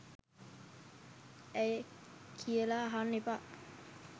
ඇයි කියලා අහන්න එපා